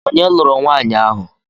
Onye lụrụ nwanyi ahụ?